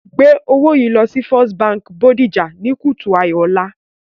Gbé owó yìí lọ First Bank Bodija ní kùtù hàì ọ̀la